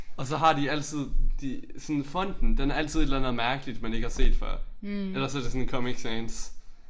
Og så har de altid de sådan fonten den er altid et eller andet mærkeligt man ikke har set før. Ellers er det sådan Comic Sans